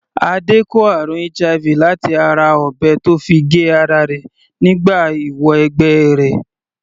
Adé kó àrùn HIV láti ara ọ̀bẹ tó fi gé ara rẹ̀ nígbà ìwọ - ẹgbẹ́ rẹ̀.